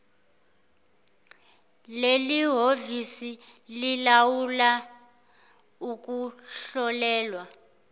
lelihhovisi lilawula ukuhlolelwa